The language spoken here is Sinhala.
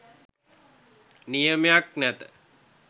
නියමයක් නැත.